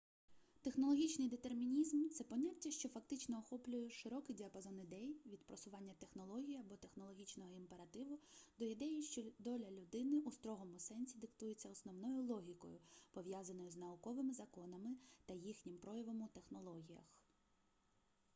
технологічний детермінізм це поняття що фактично охоплює широкий діапазон ідей від просування технологій або технологічного імперативу до ідеї що доля людини у строгому сенсі диктується основною логікою пов'язаною з науковими законами та їхнім проявом у технологіях